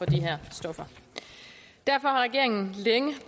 de her stoffer derfor har regeringen længe